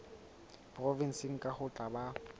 provenseng kang ho tla ba